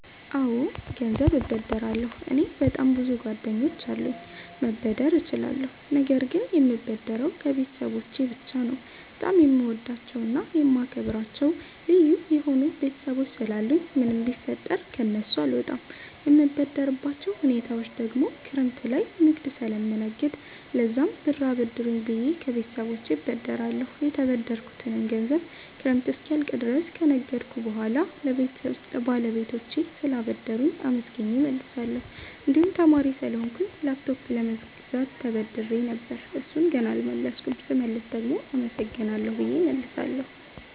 አወ ገንዘብ እበደራለሁ። እኔ በጣም ብዙ ጓደኞች አሉኝ መበደር እችላለሁ ነገር ግን የምበደረው ከቤተሰቦቸ ብቻ ነው። በጣም የምወዳቸውና የማከብራቸው ልዩ የሆኑ ቤተሰቦች ስላሉኝ ምንም ቢፈጠር ከነሱ አልወጣም። የምበደርባቸው ሁኔታወች ደግሞ ክረምት ላይ ንግድ ስለምነግድ ለዛም ብር አበድሩኝ ብየ ከቤተሰቦቸ እበደራለሁ። የተበደርኩትንም ገንዘብ ክረምት እስኪያልቅ ድረስ ከነገድኩ በሁዋላ ለባለቤቶቹ ስላበደሩኝ አመስግኘ እመልሳለሁ። እንድሁም ተማሪ ስለሆንኩ ላፕቶፕ ለመግዛት ተበድሬ ነበር እሡን ገና አልመለስኩም ስመልስ ደግሞ አመሰግናለሁ ብየ እመልሳለሁ።